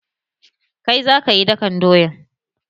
Kai za kayi dakan doyan!